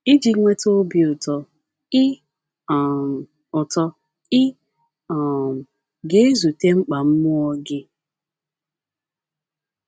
Iji nweta obi ụtọ, ị um ụtọ, ị um ga - ezute mkpa mmụọ gị.